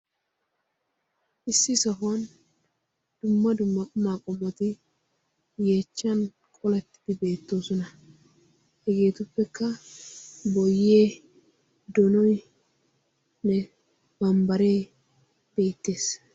issi sohuwan dumma dumma qumaqumoti yeechchan qoletti beettoosona hegeetuppekka boyee donoinne bambbaree biitties